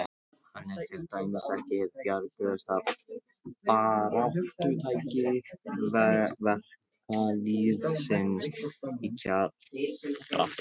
Hann er til dæmis ekki hið bjargtrausta baráttutæki verkalýðsins í kjarabaráttunni.